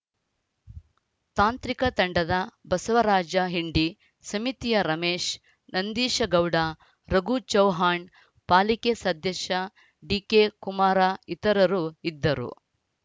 ತಾಂತ್ರಿಕ ತಂಡದ ಬಸವರಾಜ ಹಿಂಡಿ ಸಮಿತಿಯ ರಮೇಶ ನಂದೀಶ ಗೌಡ ರಘು ಚೌಹಾಣ್‌ ಪಾಲಿಕೆ ಸದಸ್ಯ ಡಿಕೆಕುಮಾರ ಇತರರು ಇದ್ದರು